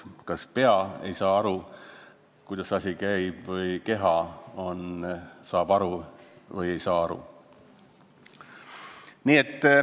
Kas pea ei saa aru, kuidas asi käib, ja keha saab aru või ei saa aru?